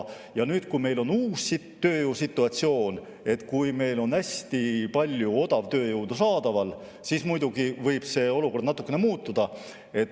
Kui meil on uus tööjõusituatsioon, kui meil on hästi palju odavtööjõudu saadaval, siis muidugi võib see olukord natuke muutuda.